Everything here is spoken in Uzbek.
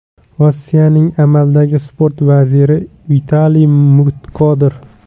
Rossiyaning amaldagi sport vaziri Vitaliy Mutkodir.